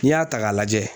N'i y'a ta k'a lajɛ